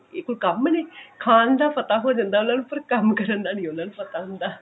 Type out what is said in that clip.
ਇਹ ਕੋਈ ਕੰਮ ਨੇ ਖਾਣ ਦਾ ਪਤਾ ਹੋ ਜਾਂਦਾ ਉਹਨਾਂ ਨੂੰ ਪਰ ਕੰਮ ਕਰਨ ਦਾ ਨਹੀਂ ਉਹਨਾਂ ਨੂੰ ਪਤਾ ਹੁੰਦਾ